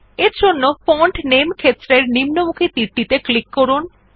এরজন্য ফন্ট নামে ক্ষেত্রের নিম্নমুখী তীরটিত়ে ক্লিক করুন